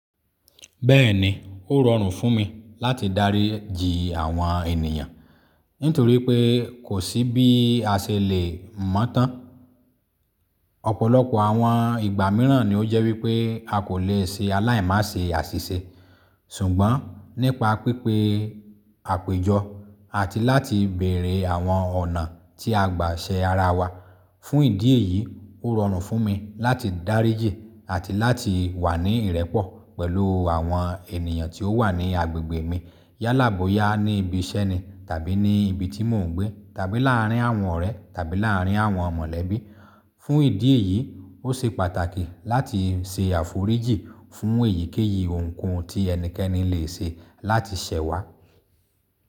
Bẹ́ẹ̀ni, ó rọrùn fún mi láti dáríji àwọn ènìyàn nítorí pé kò sí bí a ṣe lè mọ́ tán. Ọ̀pọ̀lọpọ̀ àwọn ìgbà mìíràn ni ó jẹ́ wípé a kò lè ṣe aláì-mase àṣìṣe. Ṣùgbọ́n nípa pípé àpéjọ àti láti bèrè àwọn ọ̀nà tí a gbà ṣe ara wa. Fún ìdí èyí, ó rọrùn fún mi láti dáríji àti láti wà ní ìrẹ́pọ̀ pẹ̀lú àwọn ènìyàn tí ó wà ní agbègbè mi yálàboya ní ibi iṣẹ́ ni tàbí ní ibi tí mò ń gbé tàbí láàrín àwọn ọ̀rẹ́ tàbí láàrín àwọn mọ̀lẹ́bí. Fún ìdí èyí, ó ṣe pàtàkì láti ṣe àforíjì fún èyíkéyìí ohunkóhun tí ẹnikẹ́ni lè ṣe láti ṣẹ̀ wá.